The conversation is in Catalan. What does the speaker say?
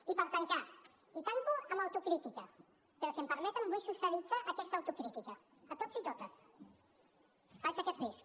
i per tancar tanco amb autocrítica però si m’ho permeten vull socialitzar aquesta autocrítica a tots i totes faig aquest risc